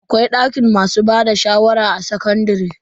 Akwai dakin masu bada shawara a sakandare.